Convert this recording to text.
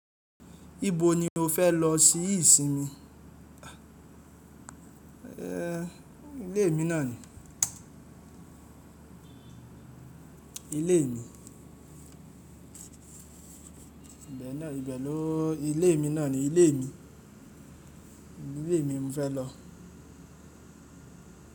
Ibo ni o fẹ́ lọ sí ìsinmi? A ilé mi náà ni. Ilé mi. Ìgbà náà, ìgbà naa o? Ilé mi náà ni. Ilé mi. Ilé mi mo fẹ́ lọ.